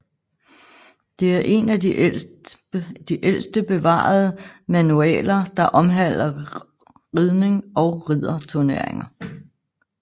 Det er en af de ældste bevarede manualer der omhandler ridning og ridderturnering